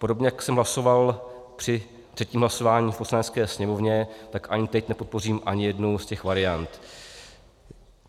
Podobně jako jsem hlasoval při třetím hlasování v Poslanecké sněmovně, tak ani teď nepodpořím ani jednu z těch variant.